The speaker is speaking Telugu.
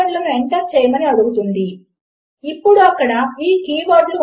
ఇప్పుడు నేను ఆ రెంటినీ తీసుకుంటే ఏమి జరుగుతుంది ఇప్పుడు ప్రయత్నించి చూద్దాము